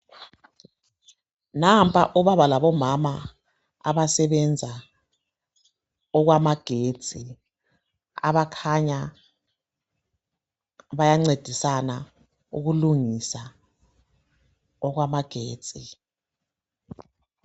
Nampa omama labobaba abasebenza okwamagetsi abakhanya bayangcedisana ukulungisa okwamagetsi